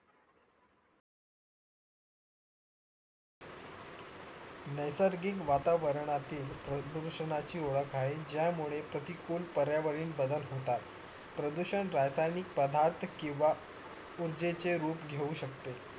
नासिर्गिक वातावरनातील प्रदूषणाची ओळख आहे ज्या मुळे प्रतिकूल पर्यावरीन बदल घडतात प्रदूषण रासायनिक पदार्थ किंवा ऊर्जेचे रूप घेऊ शकतेय